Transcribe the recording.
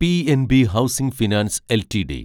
PNB housing finance LTD